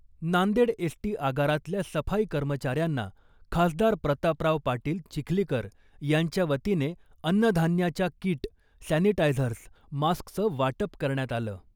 Nanded S T आगारातल्या सफाई कर्मचाऱ्यांना खासदार प्रतापराव पाटील चिखलीकर यांच्या वतीने अन्नधान्याच्या किट , सॅनिटायझर्स , मास्कचं वाटप करण्यात आलं .